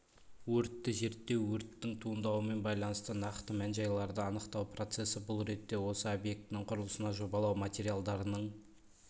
өртті зерттеу өрттің туындауымен байланысты нақты мән-жайларды анықтау процессі бұл ретте осы объектінің құрылысына жобалау материалдарының